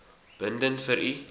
bindend vir u